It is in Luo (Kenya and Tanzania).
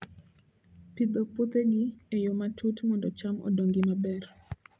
Pidho puothegi e yo matut mondo cham odongi maber